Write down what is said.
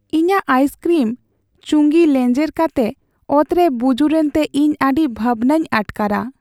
ᱤᱧᱟᱹᱜ ᱟᱭᱤᱥᱠᱨᱤᱢ ᱪᱩᱸᱜᱤ ᱞᱮᱡᱮᱨ ᱠᱟᱛᱮ ᱚᱛᱨᱮ ᱵᱩᱡᱩᱨ ᱮᱱᱛᱮ ᱤᱧ ᱟᱹᱰᱤ ᱵᱷᱟᱵᱽᱱᱟᱧ ᱟᱴᱠᱟᱨᱟ ᱾᱾